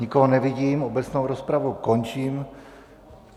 Nikoho nevidím, obecnou rozpravu končím.